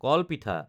কল পিঠা